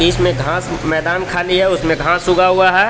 इसमें घास मैदान खाली है उसमें घास उगा हुआ है.